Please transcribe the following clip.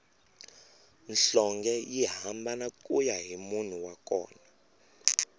nhlonge yi hambana kuya hi munhu wa kona